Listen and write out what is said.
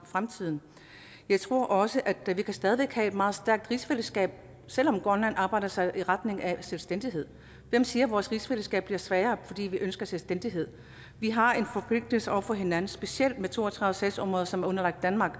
fremtiden jeg tror også at vi stadig væk kan have et meget stærkt rigsfællesskab selv om grønland arbejder sig i retning af selvstændighed hvem siger at vores rigsfællesskab bliver svagere fordi vi ønsker selvstændighed vi har en forpligtelse over for hinanden specielt med to og tredive sagsområder som er underlagt danmark